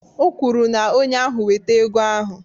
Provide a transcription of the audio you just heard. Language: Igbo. O kwuru na onye ahụ weta ego ahụ